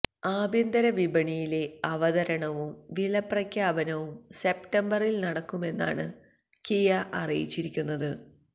ആഭ്യന്തര വിപണിയിലെ അവതരണവും വില പ്രഖ്യാപനവും സെപ്റ്റംബറില് നടക്കുമെന്നാണ് കിയ അറിയിച്ചിരിക്കുന്നത്